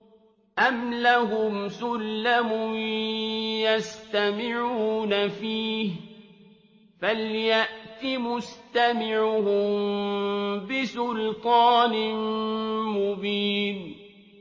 أَمْ لَهُمْ سُلَّمٌ يَسْتَمِعُونَ فِيهِ ۖ فَلْيَأْتِ مُسْتَمِعُهُم بِسُلْطَانٍ مُّبِينٍ